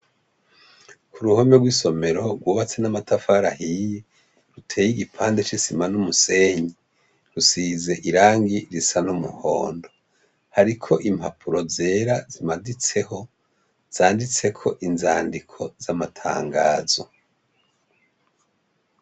Kuruhome rw’isomero rwubatse n’amatafari ahiye, uteye igipande c’isima n’umusenyi, usize irangi risa n’umuhondo, hariko impapuro zera zimaditseho zanditseko inzandiko z’amatangazo.